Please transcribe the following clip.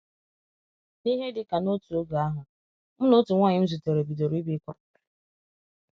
N'ihe dị ka n'otu oge ahụ, mụ na otu nwanyị m zutere bidoro ibikọ.